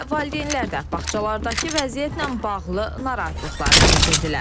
Elə valideynlər də bağçalardakı vəziyyətlə bağlı narahatlıqlarını bildirdilər.